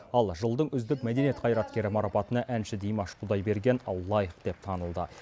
ал жылдың үздік мәдениет қайраткері марапатына әнші димаш құдайберген лайық деп танылды